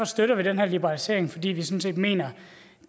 støtter den her liberalisering fordi vi sådan set mener at